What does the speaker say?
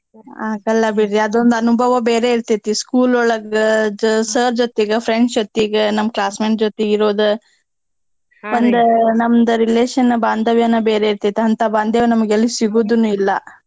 ಆಗಲ್ಲಾ ಬಿಡ್ರಿ ಅದೊಂದ್ ಅನುಭವ ಬೇರೆ ಇರ್ತೇತಿ school ಒಳಗ್ ಜ~ sir ಜೊತಿಗ friends ಜೊತಿಗ ನಮ್ classmate ಜೊತೀಗಿರೋದ ಒಂದ ನಮ್ದ relation ಬಾಂದವ್ಯನ ಬೇರೆ ಇರ್ತೈತಿ ಅಂತ ಬಾಂದವ್ಯ ನಮ್ಗ್ ಎಲ್ ಸಿಗೂದೂನೂ ಇಲ್ಲ.